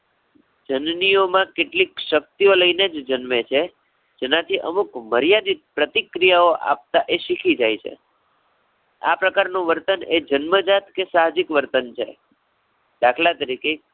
જનનીઓમાં કેટલીક શક્તિઓ લઈને જ જન્મે છે. જેનાથી અમુક મર્યાદિત પ્રતિક્રિયાઓ આપતા એ શીખી જાય છે. આ પ્રકારનું વર્તન એ જન્મજાત કે સાહજિક વર્તન છે. દાખલા તરીકે